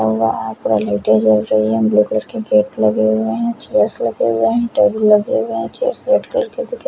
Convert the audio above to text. लाइटे झल रही है ब्लू कलर के गेट लगे हुए है चेयर्स लगे हुए है टेबुल लगे हुए है चेयर्स रेड कलर की--